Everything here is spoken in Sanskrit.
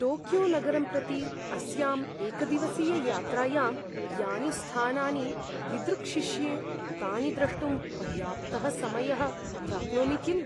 टोक्योनगरं प्रति अस्यां एकदिवसीययात्रायां यानि स्थानानि दिदृक्षिष्ये तानि द्रष्टुं पर्याप्तः समयः प्राप्नोमि किम्?